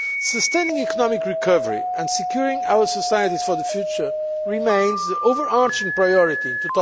Sustaining economic recovery and securing our societies for the future remains the overarching priority in